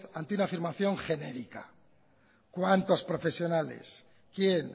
ante una afirmación genérica cuántos profesionales quién